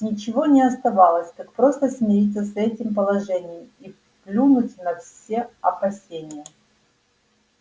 ничего не оставалось как просто смириться с этим положением и плюнуть на все опасения